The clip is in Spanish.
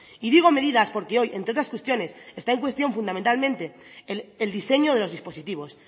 y digo medidas porque hoy entre otras cuestiones está en cuestión fundamentalmente el diseño de los dispositivos